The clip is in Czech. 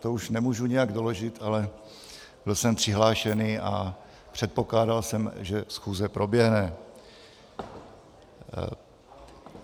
To už nemůžu nijak doložit, ale byl jsem přihlášený a předpokládal jsem, že schůze proběhne.